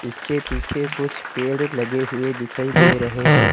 इसके पीछे कुछ पेड़ लगे हुए दिखाई दे रहे हैं।